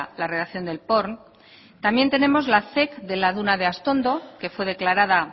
la redacción del porn también tenemos la zec de la duna de astondo que fue declarada